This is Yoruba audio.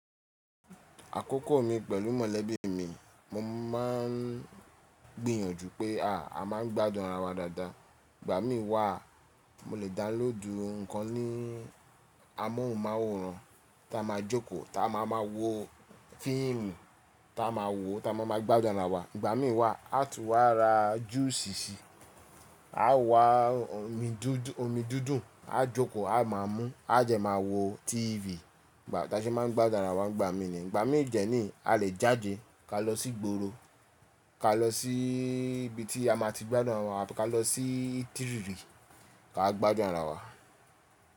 Àkókò mi pẹ̀lú mọ̀lẹ́bí mi, mo máà ń gbìyànjú pé a máa ń gbádùn ara wa dáadáa. Ìgbà mí wà mo lè download nǹkan ní amóhùnmáwòrán ta máa jókòó, ta máa máa wo fíìmù ta máa wò, ta máa máa gbádùn ara wa. Ìgbà mí wà a tú wá ra júúsì ṣì, a wá omi dúdùn, a jókòó, a máa mú, a de máa wo TV. Ìgbà ta ṣe máa ń gbádùn ara wa Ìgbà mí ni. Ìgbà mé de ni a lè jáde ka lọ sí gboro, ka lọ sí ibi tí a máa ti gbádùn ara wa, ka lọ sí tírìrì ka gbádùn ara wa.